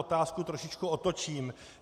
Otázku trošičku otočím.